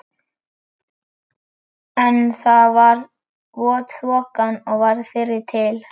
En það var vot þokan sem varð fyrri til.